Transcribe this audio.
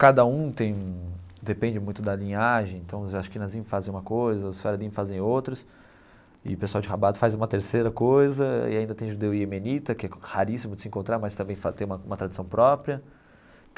Cada um tem, depende muito da linhagem, então os Ashkenazim fazem uma coisa, os Sefaradim fazem outras, e o pessoal de Rabat faz uma terceira coisa, e ainda tem judeu e iemenitas, que é raríssimo de se encontrar, mas também tem uma uma tradição própria.